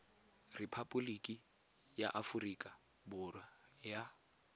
repaboliki ya aforika borwa ya